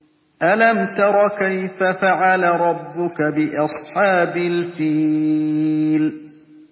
أَلَمْ تَرَ كَيْفَ فَعَلَ رَبُّكَ بِأَصْحَابِ الْفِيلِ